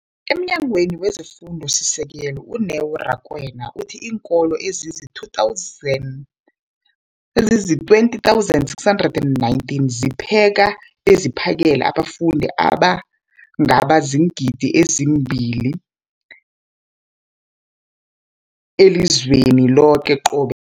EmNyangweni wezeFundo esiSekelo, u-Neo Rakwena, uthe iinkolo ezizi-20 619 zipheka beziphakele abafundi abangaba ziingidi ezili-9 032 622 elizweni loke qobe